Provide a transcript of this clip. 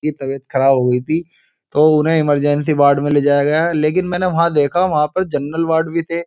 की तबियत ख़राब हो गयी थी तो उन्हें इमरजेंसी वार्ड में ले जाया गया लेकिन मैंने वहाँ देखा वहां पे जनरल वार्ड भी थे।